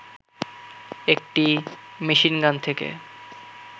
একটি মেশিনগান থেকে